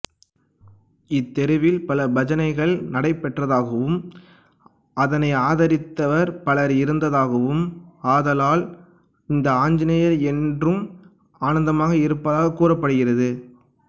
இத்தெருவில் பல பஜனைகள் நடைபெற்றதாகவும் அதனை ஆதரித்தவர் பலர் இருந்ததாகவும் ஆதலால் இந்த ஆஞ்சநேயர் என்றும் ஆனந்தமாக இருப்பதாகக் கூறப்படுகிறது